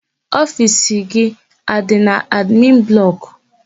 Ofiisi gị adị n'admin blọkụ?